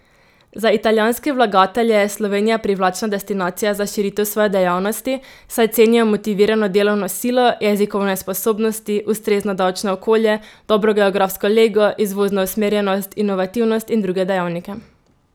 Za italijanske vlagatelje je Slovenija privlačna destinacija za širitev svoje dejavnosti, saj cenijo motivirano delovno silo, jezikovne sposobnosti, ustrezno davčno okolje, dobro geografsko lego, izvozno usmerjenost, inovativnost in druge dejavnike.